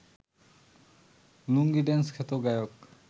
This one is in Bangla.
লুঙ্গি ড্যান্স খ্যাত গায়ক